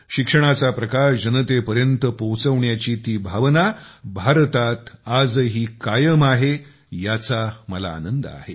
शिक्षणाचा प्रकाश जनतेपर्यंत पोहोचवण्याची ती भावना भारतात आजही कायम आहे याचा मला आनंद आहे